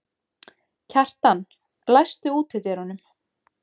Kjartan, læstu útidyrunum.